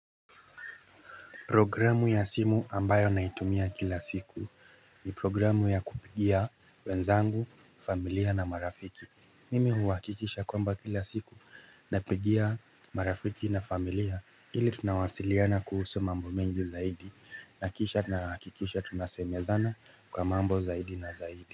Programu ya simu ambayo naitumia kila siku ni programu ya kupigia wenzangu, familia na marafiki. Mimi huwakikisha kwamba kila siku na pigia marafiki na familia ili tunawasiliana kuhusu mambo mengi zaidi. Nakisha nahakikisha tunasemezana kwa mambo zaidi na zaidi.